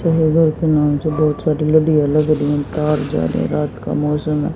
बहुत सारी लड़ियां लग रही हैं तार जा रहे हैं रात का मौसम है।